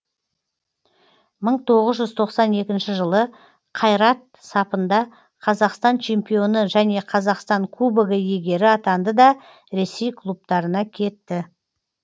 мың тоғыз жүз тоқсан екінші жылы қайрат сапында қазақстан чемпионы және қазақстан кубогы иегері атанды да ресей клубтарына кетті